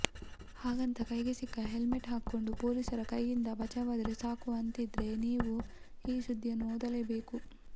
ಹಾಗಂತ ಕೈಗೆ ಸಿಕ್ಕ ಹೆಲ್ಮೆಟ್ ಹಾಕ್ಕೊಂಡು ಪೊಲೀಸರ ಕೈಯಿಂದ ಬಚಾವಾದ್ರೆ ಸಾಕು ಅಂತಿದ್ರೆ ನೀವು ಈ ಸುದ್ದಿಯನ್ನು ಓದಲೇಬೇಕು